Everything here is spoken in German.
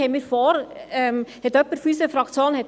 Was ich hier sage, ist eine Ergänzung.